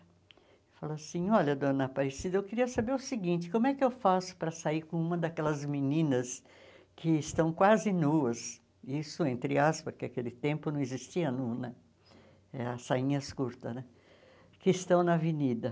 Ele falou assim, olha, dona Aparecida, eu queria saber o seguinte, como é que eu faço para sair com uma daquelas meninas que estão quase nuas, isso entre aspas, porque naquele tempo não existia nua né, eh as sainhas curtas né, que estão na avenida.